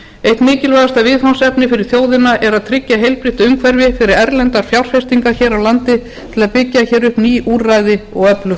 eitt mikilvægasta viðfangsefni fyrir þjóðina er að tryggja heilbrigt umhverfi fyrir erlendar fjárfestingar hér á landi til að byggja upp ný úrræði og öflugt